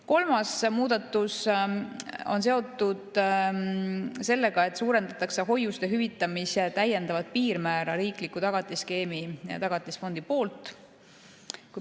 Kolmas muudatus on seotud sellega, et suurendatakse täiendavat piirmäära hoiuste hüvitamisel riikliku tagatisskeemi, Tagatisfondi poolt.